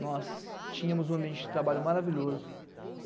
Nós tínhamos um ambiente de trabalho maravilhoso.